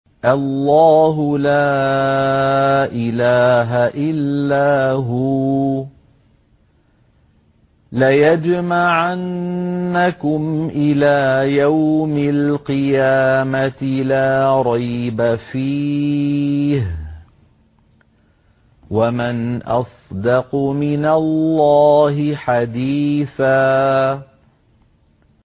اللَّهُ لَا إِلَٰهَ إِلَّا هُوَ ۚ لَيَجْمَعَنَّكُمْ إِلَىٰ يَوْمِ الْقِيَامَةِ لَا رَيْبَ فِيهِ ۗ وَمَنْ أَصْدَقُ مِنَ اللَّهِ حَدِيثًا